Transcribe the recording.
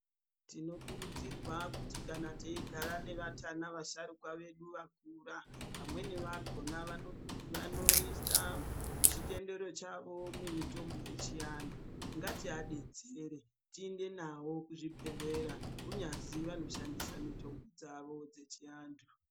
Tinokurudzirwa kuti kana teyigara nevatana vasharukwa vedu vakura, vamweni vakona vanoisa chitendero chawo mimitombo yechianhu. Ngatiabetsere, tiinde nawo kuzvibhedhlera, kunyazi vanoshandisa mitombo dzawo dzechiantu.